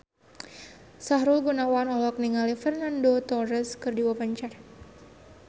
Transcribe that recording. Sahrul Gunawan olohok ningali Fernando Torres keur diwawancara